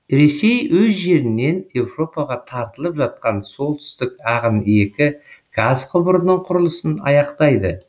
ресей өз жерінен европаға тартылып жатқан солтүстік ағын екі газ құбырының құрылысын аяқтайды